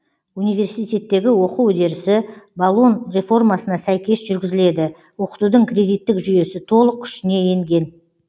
университеттегі оқу үдерісі болон реформасына сәйкес жүргізіледі оқытудың кредиттік жүйесі толық күшіне енген